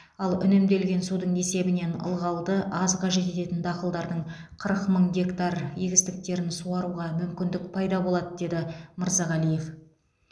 ал үнемделген судың есебінен ылғалды аз қажет ететін дақылдардың қырық мың гектар егістіктерін суаруға мүмкіндік пайда болады деді мырзағалиев